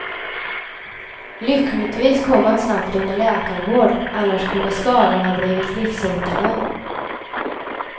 Lyckligtvis kom han snabbt under läkarvård, annars kunde skadorna ha blivit livshotande.